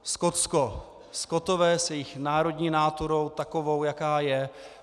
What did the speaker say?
Skotsko, Skotové s jejich národní náturou takovou, jaká je.